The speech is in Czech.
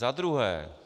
Za druhé.